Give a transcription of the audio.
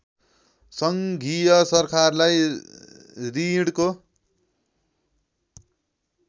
सङ्घीय सरकारलाई ॠणको